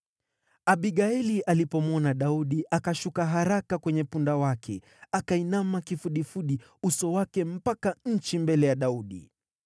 Abigaili alipomwona Daudi, akashuka haraka kwenye punda wake, akainama kifudifudi uso wake mpaka nchi mbele ya Daudi.